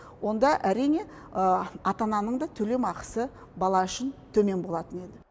онда әрине ата ананың да төлем ақысы бала үшін төмен болатын еді